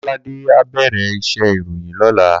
Kolade á bèrè iṣè iróyin lòlá